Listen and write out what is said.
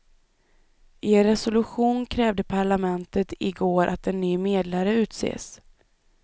I en resolution krävde parlamentet i går att en ny medlare utses.